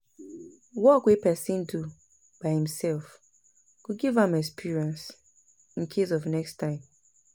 work wey pesin do by imself go give am experience incase of next time